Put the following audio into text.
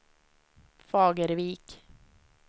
Fagervik